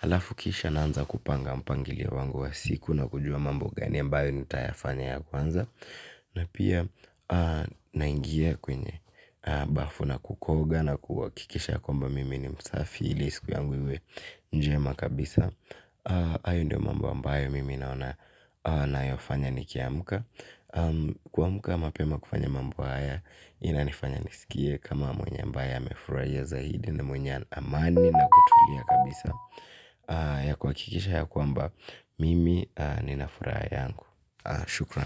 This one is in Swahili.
Alafu kisha naanza kupanga mpangilio wangu wa siku na kujua mambo gani ambayo nitayafanya ya kwanza. Na pia naingia kwenye bafu na kukoga na kuhakikisha kwamba mimi ni msafi ili siku yangu iwe njema kabisa. Hayo ndio mambo ambayo mimi naona nayafanya nikiamka. Kuamka mapema kufanya mambo haya inanifanya nisikie kama mwenye ambaye amefurahia zaidi na mwenye amani na kutulia kabisa. Yakuhakikisha ya kwamba mimi ninafuraha yangu. Shukran.